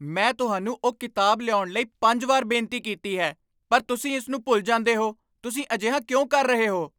ਮੈਂ ਤੁਹਾਨੂੰ ਉਹ ਕਿਤਾਬ ਲਿਆਉਣ ਲਈ ਪੰਜ ਵਾਰ ਬੇਨਤੀ ਕੀਤੀ ਹੈ ਪਰ ਤੁਸੀਂ ਇਸ ਨੂੰ ਭੁੱਲ ਜਾਂਦੇ ਹੋ, ਤੁਸੀਂ ਅਜਿਹਾ ਕਿਉਂ ਕਰ ਰਹੇ ਹੋ?